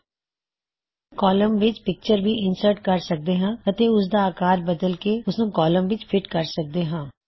ਤੁਸੀ ਕੌਲਮ ਵਿੱਚ ਪਿਕਚਰ ਵੀ ਇਨਸਰਟ ਕਰ ਸਕਦੇ ਹੋ ਅਤੇ ਉਸਦਾ ਆਕਾਰ ਬਦਲ ਕੇ ਓਸਨੂੰ ਕੌਲਮ ਵਿੱਚ ਫਿਟ ਕਰ ਸਕਦੇ ਹੋਂ